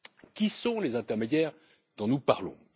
Qui sont les intermédiaires dont nous parlons?